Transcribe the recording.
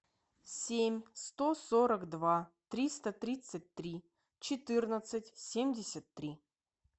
семь сто сорок два триста тридцать три четырнадцать семьдесят три